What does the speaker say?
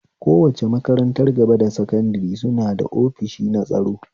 Kowace makarantar gaba da sankadare suna ofishi na tsaro